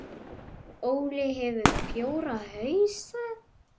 Óli hefur fjóra hausa.